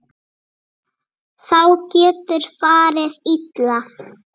Þá getur farið illa.